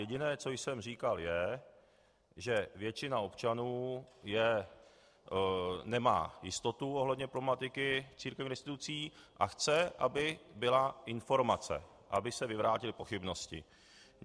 Jediné, co jsem říkal, je, že většina občanů nemá jistotu ohledně problematiky církevních restitucí a chce, aby byla informace, aby se vyvrátily pochybnosti.